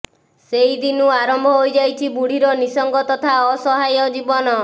ସେଇଦିନୁ ଆରମ୍ଭ ହୋଇଯାଇଛି ବୁଢିର ନିସଙ୍ଗ ତଥା ଅସହାୟ ଜୀବନ